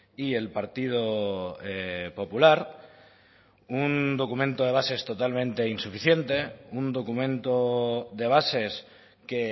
y el partido popular un documento de bases totalmente insuficiente un documento de bases que